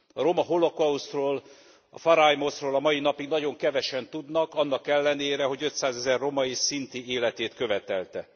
A roma holokausztról, a porrajmos ról a mai napig nagyon kevesen tudnak, annak ellenére, hogy ötszázezer roma és szinti életét követelte.